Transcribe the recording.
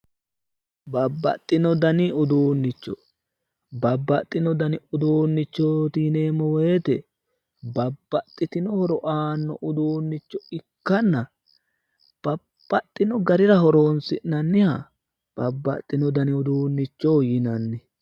Babbaxxino dani uduunnicho, bababxxino dani uduunnichooti yineemmo woyte babbaxxitino horo aano uduunnicho ikkanna babbaxxino garira horonsi'nanniha babbaxxitino dani uduunnichoho yinanni.